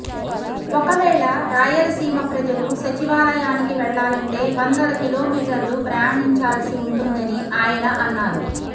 ఒకవేళ రాయలసీమ ప్రజలు సచివాలయానికి వెళ్లాలంటే వందల కిలోమీటర్లు ప్రయాణించాల్సి ఉంటుందని ఆయన అన్నారు